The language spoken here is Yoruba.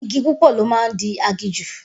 Igi púpọ̀ ló máa ń di aginjù